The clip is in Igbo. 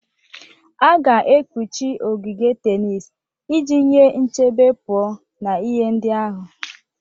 A ga-ekpuchi ogige tenis iji nye nchebe pụọ na ihe ndị ahụ.